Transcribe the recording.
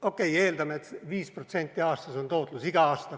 Okei, eeldame, et 5% on tootlus igal aastal.